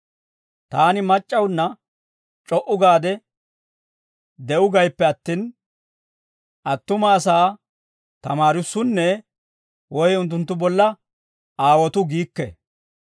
Taani mac'c'awunna c'o"u gaade de'uu gayippe attin, attuma asaa tamaarissunne woy unttunttu bolla aawotuu giikke.